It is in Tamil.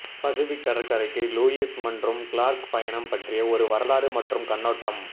பசிபிக் கடற்கரைக்கு லூயிஸ் மற்றும் கிளார்க் பயணம் பற்றிய ஒரு வரலாறு மற்றும் கண்ணோட்டம்